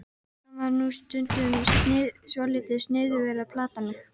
Fannst líka sjálfgefið að Nonni gengi fyrir.